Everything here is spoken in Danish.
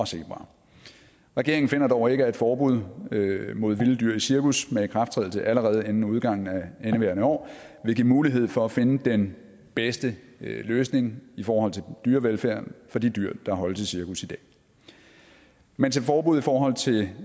og zebraer regeringen finder dog ikke at et forbud mod vilde dyr i cirkus med ikrafttrædelse allerede inden udgangen af indeværende år vil give mulighed for at finde den bedste løsning i forhold til dyrevelfærden for de dyr der holdes i cirkus i dag mens et forbud i forhold til